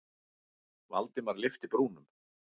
Valdimar lyfti brúnum.